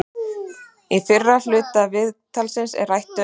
Í fyrri hluta viðtalsins er rætt um